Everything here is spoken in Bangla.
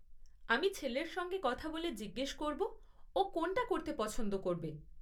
আমি ছেলের সঙ্গে কথা বলে জিজ্ঞেস করব ও কোনটা করতে পছন্দ করবে।